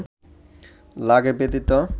লাগে ব্যথিত